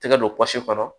Tɛgɛ don pɔsi kɔnɔ